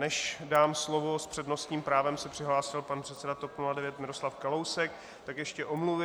Než dám slovo - s přednostním právem se přihlásil pan předseda TOP 09 Miroslav Kalousek - tak ještě omluvy.